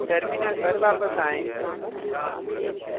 terminal पर वापस आएं